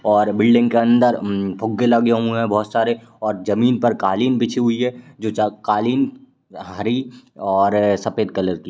और बिल्डिंग के अंदर म्म फुगे लगे हुएं हैं बहोत सारे और जमीन पर कालीन बिछी हुई है जो ज कालीन हरी और सफ़ेद कलर की --